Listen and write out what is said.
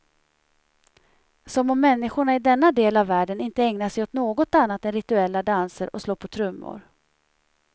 Som om människorna i denna del av världen inte ägnar sig åt något annat än rituella danser och slå på trummor.